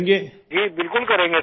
राजेश प्रजापति जी बिल्कुल करेंगे सिर